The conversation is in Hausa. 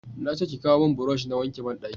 na ce ki kawo mun burosh na wanke banɗaki